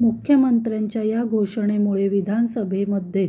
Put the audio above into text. मुख्यमंत्र्यांच्या या घोषणामुळे विधानसभेमध्ये